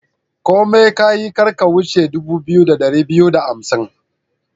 Komai kayi, kar ka wuce dubu biyu da dari biyu da hamsin.